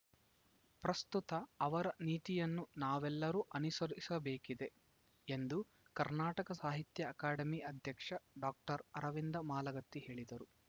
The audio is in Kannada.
ಪ್ರಸ್ತುತ ಅವರ ನೀತಿಯನ್ನು ನಾವೆಲ್ಲರೂ ಅನುಸರಿಸಬೇಕಿದೆ ಎಂದು ಕರ್ನಾಟಕ ಸಾಹಿತ್ಯ ಅಕಾಡೆಮಿ ಅಧ್ಯಕ್ಷ ಡಾಕ್ಟರ್ ಅರವಿಂದ ಮಾಲಗತ್ತಿ ಹೇಳಿದರು